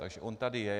Takže on tady je.